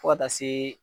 Fo ka taa se